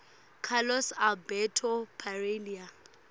carlos alberto parreira